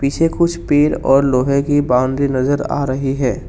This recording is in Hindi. छे कुछ पेड़ और लोहे की बाउंडी नजर आ रही है।